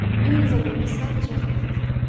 Eyni zamanda sadəcə axmaqlıqdır.